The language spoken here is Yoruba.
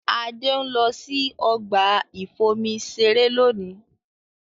Adé ń lọ sí ọgbà ìfomi-iṣeré lónìí.